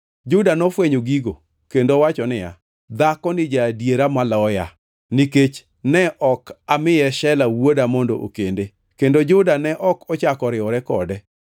Juda nofwenyo gigo, kendo owacho niya, “Dhakoni ja-adiera maloya, nikech ne ok amiye Shela wuoda mondo okende.” Kendo Juda ne ok ochako oriwore kode.